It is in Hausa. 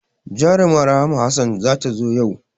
Jaruma Rahma Hassan za ta zo yau